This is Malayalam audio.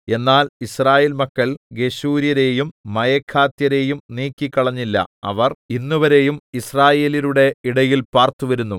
എന്നാൽ യിസ്രായേൽ മക്കൾ ഗെശൂര്യരെയും മയഖാത്യരെയും നീക്കിക്കളഞ്ഞില്ല അവർ ഇന്നുവരെയും യിസ്രായേല്യരുടെ ഇടയിൽ പാർത്തു വരുന്നു